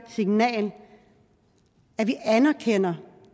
signal at vi anerkender